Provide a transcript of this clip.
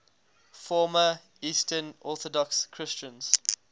former eastern orthodox christians